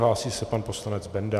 Hlásí se pan poslanec Benda.